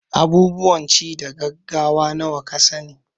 Abubuwan ci na gaggawa nawa ka sa ni?